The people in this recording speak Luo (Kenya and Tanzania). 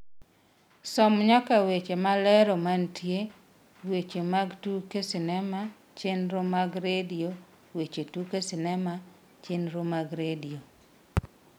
som nyaka weche malero mantie weche mag tuke sinema chenro mag redio weche tuke sinema chenro mag redio